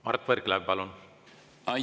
Mart Võrklaev, palun!